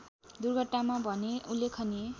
दुर्घटनामा भने उल्लेखनीय